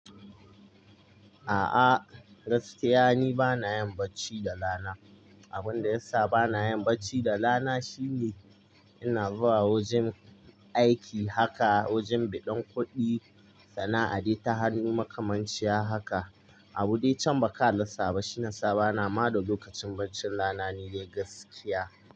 A'a, gaskiya ni bana yin bacci da rana. Abin da ya sa bana yin bacci da rana shine ina zuwa wajen aiki haka, wajen biɗin kuɗi, sana'a dai ta hannun makamanci haka. Abune can ba ka rasaba shiyasa ba na ma da lokacin barcin rana ni dai gaskiya.